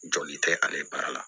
Joli tɛ ale baara la